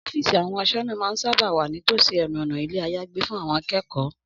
Ọ́fíìsì àwọn aṣọ́nà máa sábà ń wà ní tòsí ẹnu ọ̀nà ilé-àyágbé fún àwọn akẹ́kọ̀ọ́